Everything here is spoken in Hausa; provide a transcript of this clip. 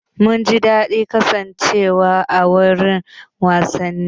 Mun ji daɗin kasancewa a wurin wasanni.